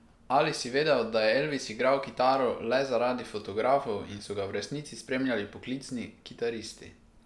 Ali si vedel, da je Elvis igral kitaro le zaradi fotografov in so ga v resnici spremljali poklicni kitaristi?